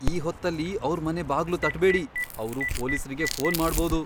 ಈ ಹೊತ್ತಲ್ಲಿ ಅವ್ರ್ ಮನೆ ಬಾಗ್ಲು ತಟ್ಬೇಡಿ. ಅವ್ರು ಪೊಲೀಸ್ರಿಗೆ ಫೋನ್ ಮಾಡ್ಬೋದು.